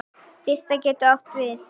Birta getur átt við